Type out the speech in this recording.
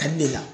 Ka di ne la